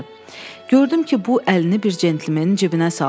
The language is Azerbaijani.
Gördüm ki, bu əlini bir cəntlemenin cibinə saldı.